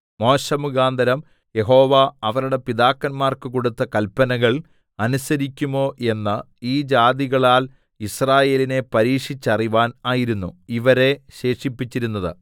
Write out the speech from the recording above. മോശെമുഖാന്തരം യഹോവ അവരുടെ പിതാക്കന്മാർക്ക് കൊടുത്ത കല്പനകൾ അനുസരിക്കുമോ എന്ന് ഈ ജാതികളാൽ യിസ്രായേലിനെ പരീക്ഷിച്ചറിവാൻ ആയിരുന്നു ഇവരെ ശേഷിപ്പിച്ചിരുന്നത്